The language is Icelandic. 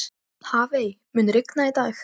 Hafey, mun rigna í dag?